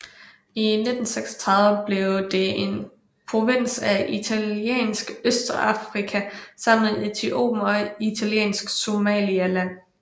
I 1936 blev det en provins af Italiensk Østafrika sammen med Etiopien og Italiensk Somaliland